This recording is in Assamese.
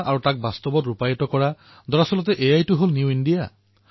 ভাল কথা ডাঙৰ সপোন দেখক আৰু বৃহৎ সফলতা লাভ কৰক এয়াইতো নতুন ভাৰত